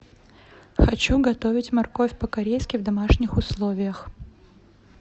хочу готовить морковь по корейски в домашних условиях